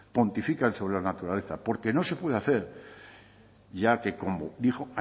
pontifican sobre la naturaleza porque no se puede hacer ya que como dijo